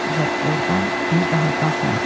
və ordan bir daha qalxmadı.